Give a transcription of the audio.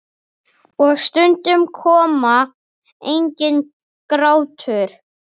Og stundum kom enginn grátur.